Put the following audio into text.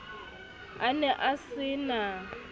a ne a se na